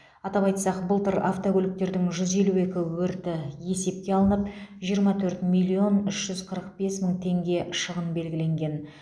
атап айтсақ былтыр автокөліктердің жүз елу екі өрті есепке алынып жиырма төрт миллион үш жүз қырық бес мың теңге шығын белгіленген